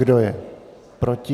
Kdo je proti?